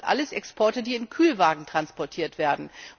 Das sind alles Exporte, die in Kühlwagen transportiert werden.